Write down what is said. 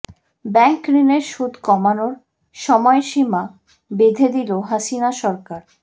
bank ঋণের সুদ কমানোর সময়সীমা বেঁধে দিল হাসিনা সরকার